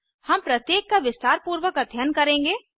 हम प्रत्येक का विस्तारपूर्वक अध्ययन करेंगे